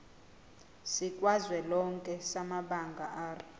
sikazwelonke samabanga r